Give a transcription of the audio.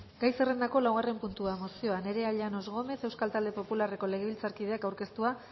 gai zerrendako laugarren puntua mozioa nerea llanos gómez euskal talde popularreko legebiltzarkideak aurkeztua